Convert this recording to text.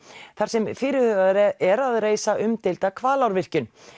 þar sem fyrirhugað er að reisa umdeilda Hvalárvirkjun